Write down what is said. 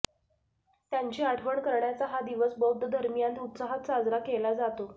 त्यांची आठवण करण्याचा हा दिवस बौद्ध धर्मीयांत उत्साहात साजरा केला जातो